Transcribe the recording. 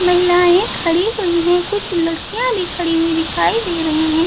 महिलाएं खड़ी हुई है कुछ लड़कियां भी खड़ी हुई दिखाई दे रहे है।